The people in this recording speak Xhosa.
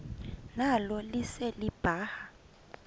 nalo lise libaha